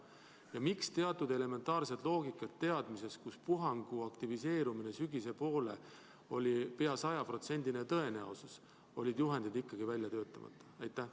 Ja miks teatud elementaarset loogikat rakendades, mille järgi puhangu aktiveerumine sügise poole oli pea 100% tõenäoline, oli juhend ikkagi välja töötamata?